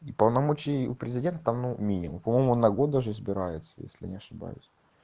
и полномочия у президента там ну минимум по моему на год даже избирается если не ошибаюсь